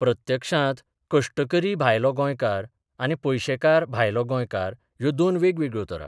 प्रत्यक्षांत कश्टकरी भायलो गोंयकार आनी पयशेकार भायलो गोंयकार ह्यो दोन वेगवेगळ्यो तरा.